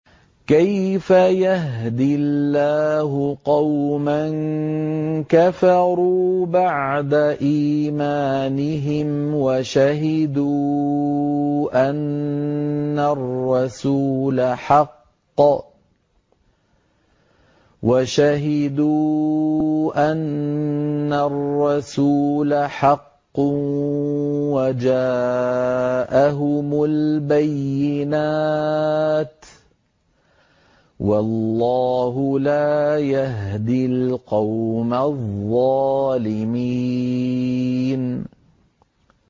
كَيْفَ يَهْدِي اللَّهُ قَوْمًا كَفَرُوا بَعْدَ إِيمَانِهِمْ وَشَهِدُوا أَنَّ الرَّسُولَ حَقٌّ وَجَاءَهُمُ الْبَيِّنَاتُ ۚ وَاللَّهُ لَا يَهْدِي الْقَوْمَ الظَّالِمِينَ